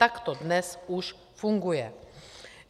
Takto to dnes už funguje.